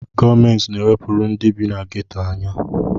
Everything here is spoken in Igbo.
Gọọmenti na-ewepụrụ ndị bi na geto anya.